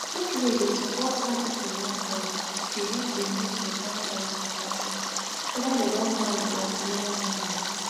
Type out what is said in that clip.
make wey dey support how pipu wan born dey help dem make beta choice beta choice weda dem don marry or dem neva marry